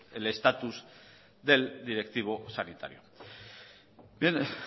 el status del directivo sanitario bien